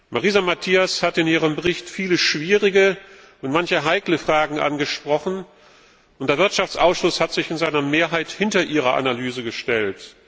Marisa Matias hat in ihrem Bericht viele schwierige und manche heikle Fragen angesprochen, und der Wirtschaftsausschuss hat sich in seiner Mehrheit hinter ihre Analyse gestellt.